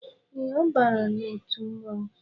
Ee, ọ bara n'otu mmọnwu